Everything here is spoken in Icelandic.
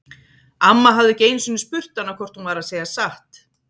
Amma hafði ekki einu sinni spurt hana hvort hún væri að segja satt.